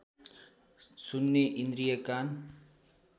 सुन्ने इन्द्रिय कान